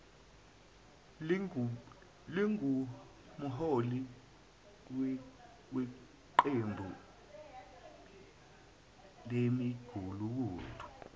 lingumholi weqembu lemigulukudu